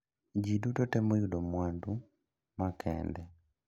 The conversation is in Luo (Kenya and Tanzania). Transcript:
Ji duto temo yudo mwandu ma kende.